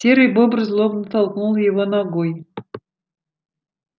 серый бобр злобно толкнул его ногой